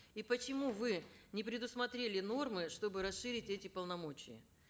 и почему вы не предусмотрели нормы чтобы расширить эти полномочия